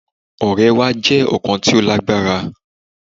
Ọrẹ wa jẹ ọkan ti o lagbara